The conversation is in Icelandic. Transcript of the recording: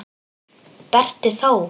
Berti þó!